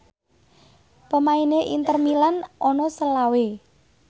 pemaine Inter Milan ana selawe